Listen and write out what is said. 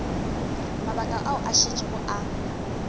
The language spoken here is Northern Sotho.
mabaka ao a šetšego a